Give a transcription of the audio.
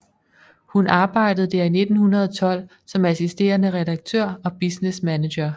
Hun arbejded der i 1912 som assisterende redaktør og business manager